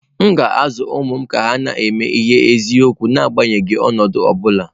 M ga-azụ ụmụ m ka ha na-eme ihe n’eziokwu n’agbanyeghị ọnọdụ ọ bụla.